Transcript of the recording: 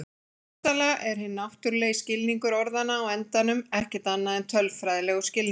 Hugsanlega er hinn náttúrulegi skilningur orðanna á endanum ekkert annað en tölfræðilegur skilningur.